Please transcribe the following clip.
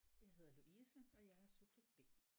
Jeg hedder Louise og jeg er subjekt B